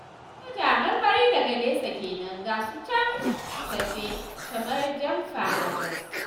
Soja marmari daga nesa kenan, ga su can tafe kamar jamfa a Jos